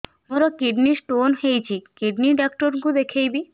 ମୋର kidney stone ହେଇଛି kidney doctor କୁ ଦେଖାଇବି